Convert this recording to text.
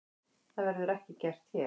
Það verður ekki gert hér.